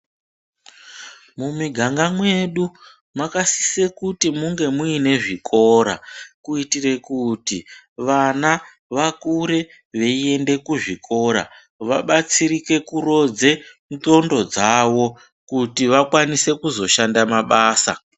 Mumiganga medu makasisa kunge mune zvikora kuitira kuti vana vakure veienda kuzvikora vabatsirike kurodze nxondlo dzavo kuti vakwanise kuzoshanda mabasa.